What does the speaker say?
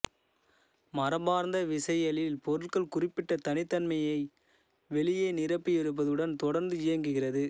மரபார்ந்த விசையியலில் பொருட்கள் குறிப்பிட்ட தனித்தன்மையான வெளியை நிரப்பியிருப்பதுடன் தொடர்ந்து இயங்குகிறது